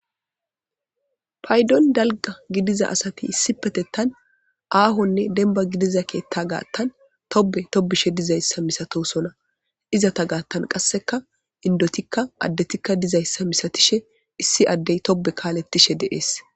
Paydon dalgga gidiza asati issippetettan aahonne dembba gidiza keeetta gaattan tobbe tobbishe dizayssa misatoosona. Izeta gaattan qassekka inddotinne addetikka dizayssa misatishe issi addey tobbe kaalettishe de'es.